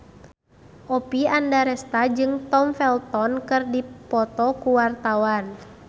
Oppie Andaresta jeung Tom Felton keur dipoto ku wartawan